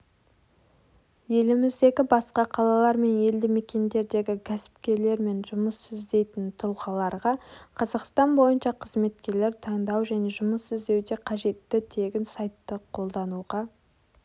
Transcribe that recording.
еліміздегі басқа қалалар мен елдімекендердегі кәсіпкерлер мен жұмыс іздейтін тұлғаларға қазақстан бойынша қызметкерлер таңдау және жұмыс іздеуде қажетті тегін сайтты қолдануға